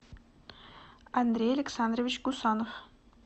андрей александрович гусанов